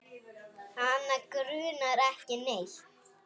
Hana grunar ekki neitt.